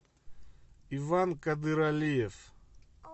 иван кадыралиев